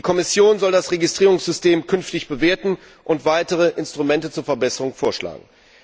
Die Kommission soll das Registrierungssystem künftig bewerten und weitere Instrumente zur Verbesserung vorschlagen.